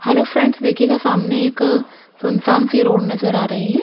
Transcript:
Hello friends देखिएगा सामने एक सुन सान सी रोड नजर आ रही है।